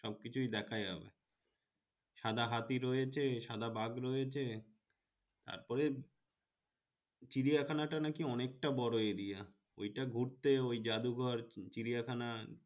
সব কিছুই দেখা যাবে সাদা হাতি রয়েছে সাদা বাঘ রয়েছে তার পরে চিড়িয়াখানা টা নাকি অনেকটা বড় area ঐটা ঘুরতে ঐ যাদুঘর চিড়িয়া খানা